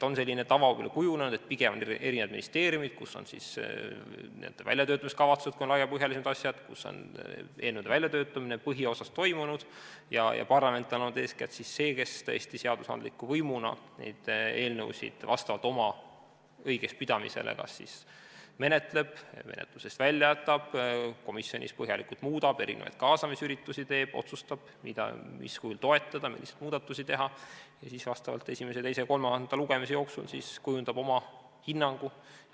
On selline tava kujunenud, et pigem on erinevates ministeeriumides, kus on tehtud ka väljatöötamiskavatsused, kui on laiapõhjalisemad asjad, eelnõude väljatöötamine põhiosas toimunud, ja parlament on olnud eeskätt see, kes seadusandliku võimuna neid eelnõusid vastavalt sellele, mida ta õigeks peab, kas siis menetleb või menetlusest välja jätab, komisjonis põhjalikult muudab, erinevaid kaasamisüritusi teeb, otsustab, mis kujul toetada, mis muudatusi teha, ja siis esimese, teise ja kolmanda lugemise jooksul kujundab oma hinnangu.